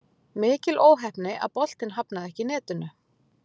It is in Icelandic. Mikil óheppni að boltinn hafnaði ekki í netinu.